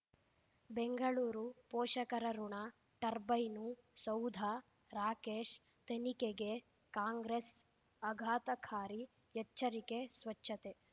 ಬೆಂಗಳೂರು ಪೋಷಕರಋಣ ಟರ್ಬೈನು ಸೌಧ ರಾಕೇಶ್ ತನಿಖೆಗೆ ಕಾಂಗ್ರೆಸ್ ಆಘಾತಕಾರಿ ಎಚ್ಚರಿಕೆ ಸ್ವಚ್ಛತೆ